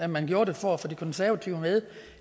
man gjorde det for at få de konservative med